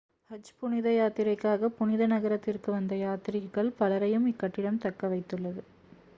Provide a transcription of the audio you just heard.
ஹஜ் புனித யாத்திரைக்காக புனித நகரத்திற்கு வந்த யாத்ரீகர்கள் பலரையும் இக்கட்டிடம் தங்கவைத்துள்ளது